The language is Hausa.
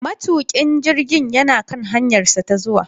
Matukin jirgin yana kan hanyarsa ta zuwa.